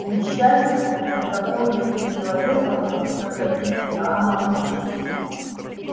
к несчастью между тобой и этим человеком будут проходить гамма-лучи